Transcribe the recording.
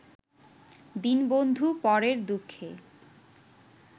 দীনবন্ধু পরের দুঃখে